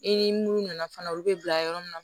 I ni mun nana fana olu bɛ bila yɔrɔ min na